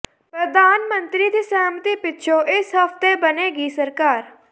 ਪ੍ਰਧਾਨ ਮੰਤਰੀ ਦੀ ਸਹਿਮਤੀ ਪਿੱਛੋਂ ਇਸ ਹਫ਼ਤੇ ਬਣੇਗੀ ਸਰਕਾਰ